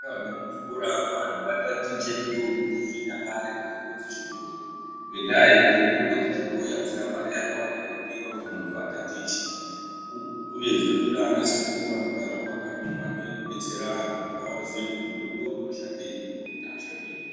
Mu ndaraunda ne muzvikora mwo vanhu va tatiche mitombo dze chinyakare mitombo dze chibhoyi ngendaa yekuti mitombo dze chibhoyi adzina mari yakawanda inodiwa kuti muntu atatiche uye dzino ndoda ana sekuru anogara mu makanyi umwu anouye ko detsera vantu kuti vaziye kuti mutombo uyu unoshandenyi uyu unoshandenyi.